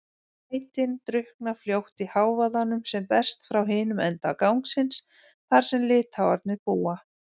lætin drukkna fljótt í hávaðanum sem berst frá hinum enda gangsins, þar sem Litháarnir búa.